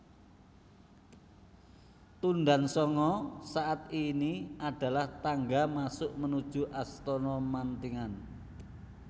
Tundan Sanga saat ini adalah tangga masuk menuju Astana Mantingan